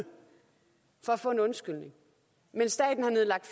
for at få en undskyldning men staten har nedlagt